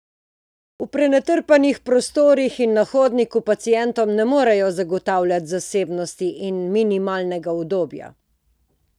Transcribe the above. V prenatrpanih prostorih in na hodniku pacientom ne moremo zagotavljati zasebnosti in minimalnega udobja.